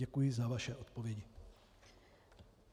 Děkuji za vaše odpovědi.